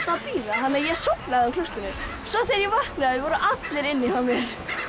að bíða þannig að ég sofnaði á klósettinu svo þegar ég vaknaði voru allir inni hjá mér